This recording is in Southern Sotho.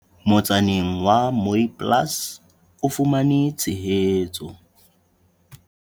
Motsaneng wa Mooiplaas o fumane tshehetso.